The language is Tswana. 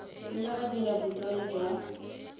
nna wa dira boikuelo jwa